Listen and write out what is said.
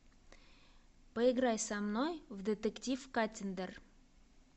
поиграй со мной в детектив каттиндер